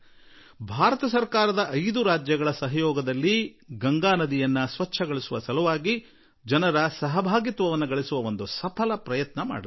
ಭಾರತ ಸರ್ಕಾರ ಕೆಲವು ದಿನಗಳ ಹಿಂದೆ 5 ರಾಜ್ಯ ಸರ್ಕಾರಗಳ ಸಹಯೋಗದಲ್ಲಿ ಗಂಗಾ ನಿರ್ಮಲೀಕರಣಕ್ಕೆ ಗಂಗಾ ನದಿ ಸ್ವಚ್ಛತೆ ಆಂದೋಲನದಲ್ಲಿ ಜನರನ್ನು ಕೂಡಿಸುವ ಒಂದು ಯಶಸ್ವೀ ಪ್ರಯತ್ನ ಮಾಡಿತು